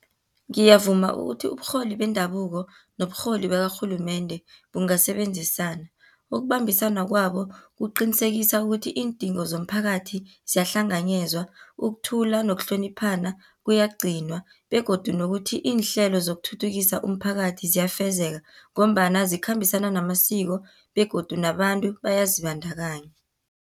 Ngiyavuma ukuthi uburholi bendabuko, noburholi bakarhulumende bungasebenzisana. Ukubambisana kwabo, kuqinisekisa ukuthi iindingo zomphakathi, ziyahlanganyezwa, ukuthula nokuhloniphana kuyagcinwa, begodu nokuthi iinhlelo zokuthuthukisa umphakathi ziyafezeka, ngombana zikhambisana namasiko, begodu nabantu bayazibandakanya.